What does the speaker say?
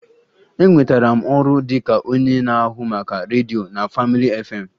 Enwetara m ọrụ dị ka onye na-ahụ maka redio na Family FM